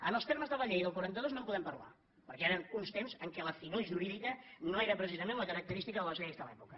en els termes de la llei del quaranta dos no en podem parlar perquè eren uns temps en què la finor jurídica no era precisament la característica de les lleis de l’època